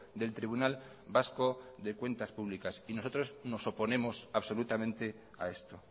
del tribunal vasco de cuentas públicas y nosotros nos oponemos absolutamente a esto